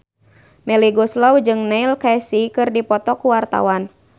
Melly Goeslaw jeung Neil Casey keur dipoto ku wartawan